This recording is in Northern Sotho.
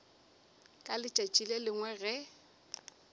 ka letšatši le lengwe ge